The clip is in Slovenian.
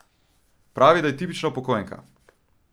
Pravi, da je tipična upokojenka.